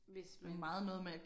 Hvis man